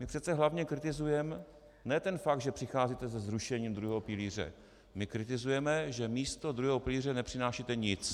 My přece hlavně kritizujeme ne ten fakt, že přicházíte se zrušením druhého pilíře, my kritizujeme, že místo druhého pilíře nepřinášíte nic.